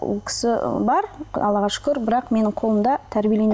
ол кісі бар алллаға шүкір бірақ менің қолымда